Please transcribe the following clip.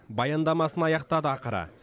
баяндамасын аяқтады ақыры